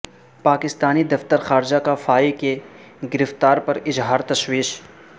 پاکستانی دفتر خارجہ کا فائی کی گرفتاری پر اظہار تشویش